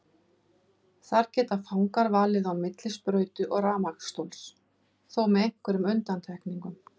Þar geta fangar valið á milli sprautu og rafmagnsstóls, þó með einhverjum undantekningum.